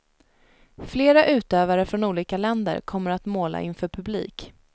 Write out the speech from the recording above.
Flera utövare från olika länder kommer att måla inför publik.